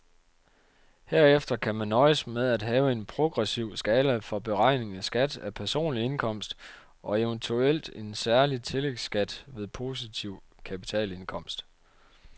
Herefter kan man nøjes med at have en progressiv skala for beregning af skat af personlig indkomst og eventuelt en særlig tillægskat ved positiv kapitalindkomst.